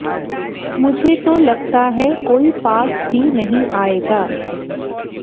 मुझे तो लगता है कोई पास भी नहीं आएगा